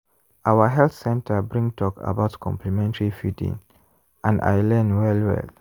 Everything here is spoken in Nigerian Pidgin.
our health center bring talk about complementary feeding and i learn well well.